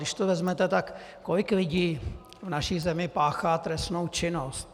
Když to vezmete, tak kolik lidí v naší zemi páchá trestnou činnost?